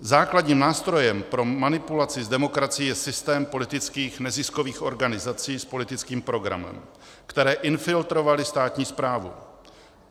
Základním nástrojem pro manipulaci s demokracií je systém politických neziskových organizací s politickým programem, které infiltrovaly státní správu.